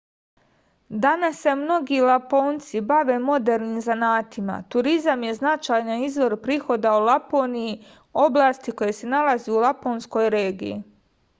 danas se mnogi laponci bave modernim zanatima turizam je značajan izvor prihoda u laponiji oblasti koja se nalazi u laponskoj regiji